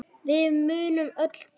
Við munum öll deyja.